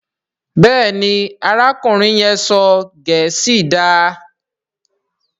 Béèni arákùnrin yén sọ gèésì dá.